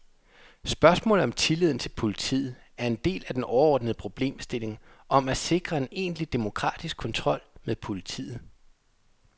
Spørgsmålet om tilliden til politiet er en del af den overordnede problemstilling om at sikre en egentlig demokratisk kontrol med politiet.